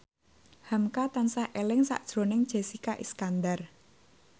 hamka tansah eling sakjroning Jessica Iskandar